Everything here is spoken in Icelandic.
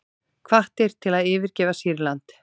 Hvattir til að yfirgefa Sýrland